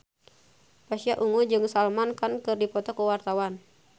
Pasha Ungu jeung Salman Khan keur dipoto ku wartawan